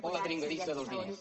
o la dringadissa dels diners